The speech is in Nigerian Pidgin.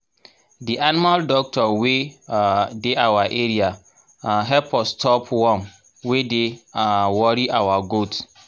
the animal doctor wey um dey our area um help us stop worm wey dey um worry our goat